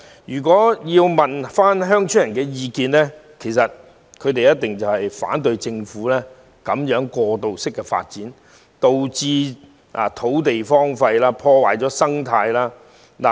如果問鄉村居民的意見，他們一定反對政府進行這種過度發展，導致土地荒廢，破壞生態。